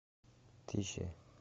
тише